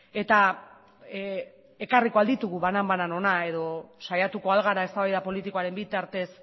eta ekarriko al ditugu banan banan hona edo saiatuko al gera eztabaida politikoaren bitartez